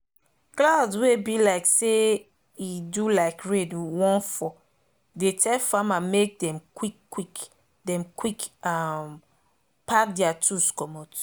cloud wey be like say e do like rain wan fall dey tell farmer make them quick make them quick um pack their tools commot